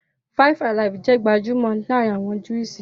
"Fivealive" jẹ́ gbajúmọ̀ laarin awọn Juísì